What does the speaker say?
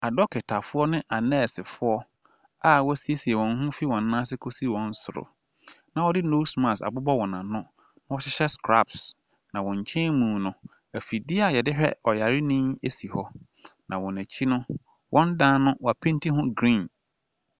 Adɔketafoɔ ne anɛɛsefoɔ a wɔasiesie wɔn ho fi wɔn nan ase kɔsi wɔn soro na wɔde nose mask abobɔ wɔn ano na wɔhyehyɛ scraps. Na wɔn nkyɛn mu no, afidie a yɛde hwɛ ɔyareni si hɔ, na wɔn akyi no, wɔn dan no wɔapeenti ho green.